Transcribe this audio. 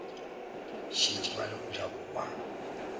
šetše ba le mojako wa